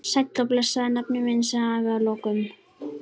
Sæll og blessaður, nafni minn, sagði afi að lokum.